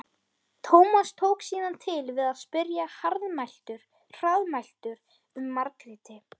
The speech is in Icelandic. Tómas tók síðan til við að spyrja hraðmæltur um Margréti.